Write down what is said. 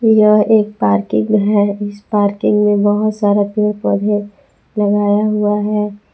यह एक पार्किंग है इस पार्किंग में बहुत सारा पेड़ पौधे लगाए हुआ है।